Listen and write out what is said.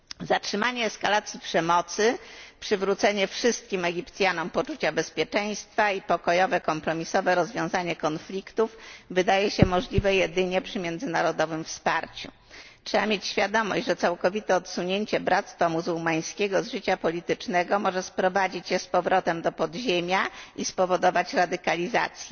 Zatrzymanie eskalacji przemocy, przywrócenie wszystkim Egipcjanom poczucia bezpieczeństwa i pokojowe, kompromisowe rozwiązanie konfliktów wydaje się możliwe jedynie przy międzynarodowym wsparciu. Trzeba mieć świadomość, że całkowite odsunięcie Bractwa Muzułmańskiego od życia politycznego może sprowadzić je z powrotem do podziemia i spowodować radykalizację.